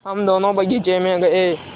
हम दोनो बगीचे मे गये